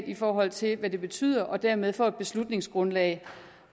i forhold til hvad det betyder dermed får et beslutningsgrundlag